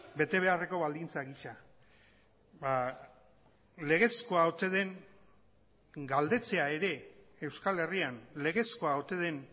bete beharreko baldintza gisa legezkoa ote den galdetzea ere euskal herrian legezkoa ote den